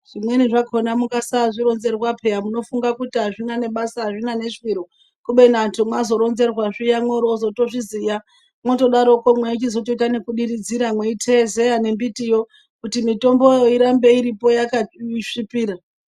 Zvimweni zvakona mukasazvironzerwa pheya munofunga kuti azvina nebasa azvina neshwiro mazotoronzerwa zviya mworoozootozviziya mweichizoita ekudiridzira meiteezeya nembitiyo kuti mitomboyo irambe iripo yakasvipira.